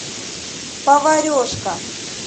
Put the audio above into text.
поварешка